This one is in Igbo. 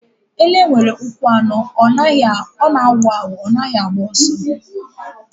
Ele nwere ụkwụ anọ. Ọ na-awu awụ. Ọ naghị agba ọsọ.